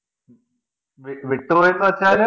വിട്ടുപോയന്നുവച്ചാല്